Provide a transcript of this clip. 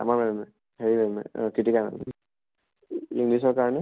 আমাৰ ma'am য়ে হেৰি ma'am য়ে কৃতিকা ma'am য়ে english ৰ কাৰণে